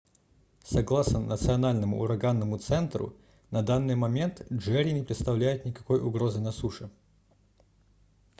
согласно национальному ураганному центру на данный момент джерри не представляет никакой угрозы на суше